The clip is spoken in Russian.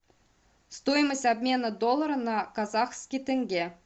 стоимость обмена доллара на казахский тенге